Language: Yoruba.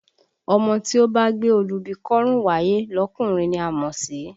Ọmọ tí ó bá gbé olúbi kọ́rùn wáyé lọkùnrin ni a mọ̀ sí?